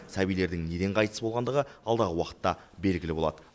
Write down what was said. сәбилердің неден қайтыс болғандығы алдағы уақытта белгілі болады